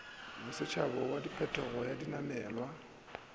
bosetšhaba wa phetogelo ya dinamelwa